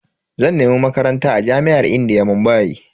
Zan nemi Makaranta a jami'ar indiya, Mumbai.